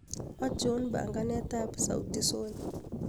achon panganet ab sauti sol